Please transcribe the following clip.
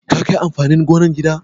Ka kai amfanin gonan gida?